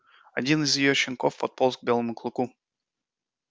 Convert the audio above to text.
один из её щенков подполз к белому клыку